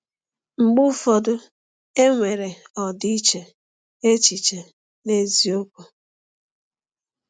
Mgbe ụfọdụ, e nwere ọdịiche echiche n’eziokwu.